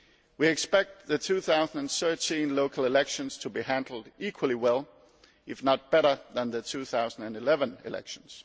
We expect the 2013 local elections to be handled equally well as if not better than the 2011 elections.